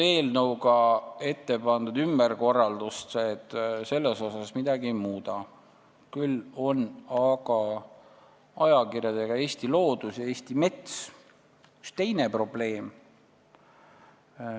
Eelnõuga ettepandud ümberkorraldused selles osas midagi ei muuda, küll aga on ajakirjadega Eesti Loodus ja Eesti Mets üks teine probleem.